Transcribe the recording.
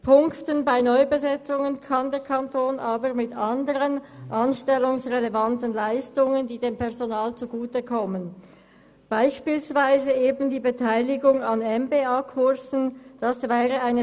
Allerdings kann der Kanton bei Neubesetzungen mit anderen anstellungsrelevanten Leistungen punkten, die dem Personal zugutekommen, beispielsweise eben die Beteiligung an Kursen für einen Master of Public Administration (MPA).